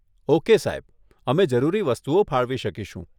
Okay સાહેબ, અમે જરૂરી વસ્તુઓ ફાળવી શકીશું.